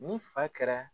Ni fa kɛra